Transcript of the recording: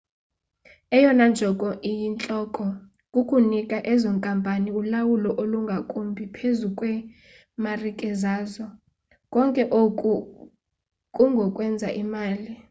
eyona njongo iyintloko kukunika ezo nkampani ulawulo olungakumbi phezu kweemarike zazo konke oku kungokwenza imali